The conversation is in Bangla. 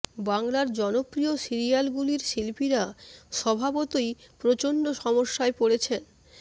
বাংলার জনপ্রিয় সিরিয়ালগুলির শিল্পীরা স্বভাবতই প্রচণ্ড সমস্যায় পড়েছেন